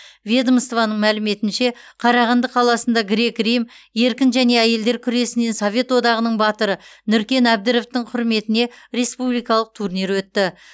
ведомствоның мәліметінше қарағанды қаласында грек рим еркін және әйелдер күресінен совет одағының батыры нүркен әбдіровтың құрметіне республикалық турнир өтті